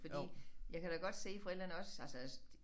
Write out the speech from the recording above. Fordi jeg kan da godt se forældrene også altså